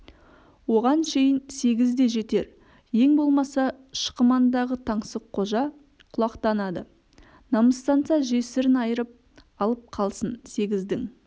оған шейін сегіз де жетер ең болмаса шықымандағы таңсыққожа құлақтанады намыстанса жесірін айырып алып қалсын сегіздің